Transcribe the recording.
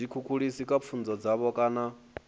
zwikhukhulisi kha pfunzo dzavho kana